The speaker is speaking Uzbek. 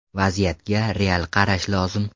Vaziyatga real qarash lozim.